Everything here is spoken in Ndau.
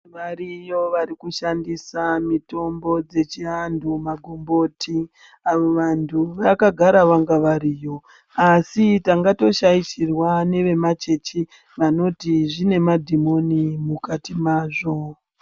Variyo varikushandissa mitombo dzechiantu magomboti. Avo vantu vakagara vanga variyo, asi tanga tooshaishirwa nevemachechi vanoti zvinemadhimoni mukati mazvo.